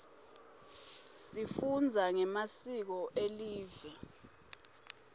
sifunza ngemasiko elive